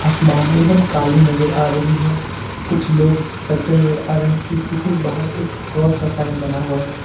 आसमान एकदम काली नजर आ रही है कुछ लोग चलते नजर आ रहे हैं इसके ठीक बाहर एक क्रॉस का साइन बना हुआ है।